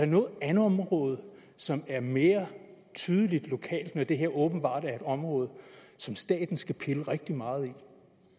noget andet område som er mere tydeligt lokalt når det her åbenbart er et område som staten skal pille rigtig meget ved